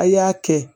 A y'a kɛ